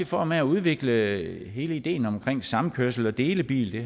form af at udvikle hele ideen omkring samkørsel og delebil det